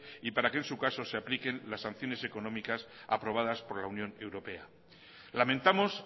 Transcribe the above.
y para en su caso se apliquen las sanciones económicas aprobadas por la unión europea lamentamos